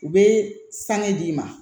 U bɛ sanni d'i ma